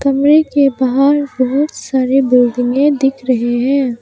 Image मे बाहर बहोत सारी बिल्डिंगे दिख रही हैं।